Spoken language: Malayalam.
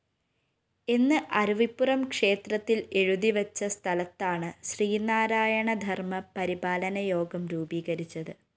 എന്ന് അരുവിപ്പുറം ക്ഷേത്രത്തില്‍ എഴുതിവച്ച സ്ഥലത്താണ് ശ്രീനാരായണധര്‍മ്മപരിപാലനയോഗം രൂപീകരിച്ചത്